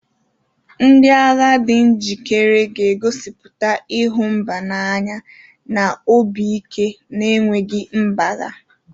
Ndị agha di njikere ga-egosipụta ịhụ mba n'anya na obi ike na-enweghị mgbagha.